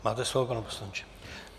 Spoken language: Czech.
Máte slovo, pane poslanče.